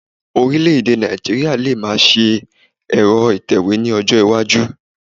Ọ̀rílẹ̀-èdè Nigeria lè máa ṣe ẹ̀rọ atẹ̀wé ní ọjọ́ iwájú